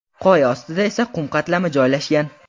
Qoya ostida esa qum qatlami joylashgan.